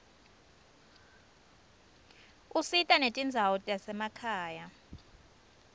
usita netindzawo tasemakhaya